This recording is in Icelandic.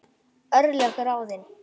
Örlög ráðin